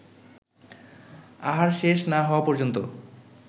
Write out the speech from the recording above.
আহার শেষ না হওয়া পর্যন্ত